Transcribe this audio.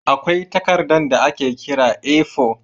Akwai takardar da ake kira A4.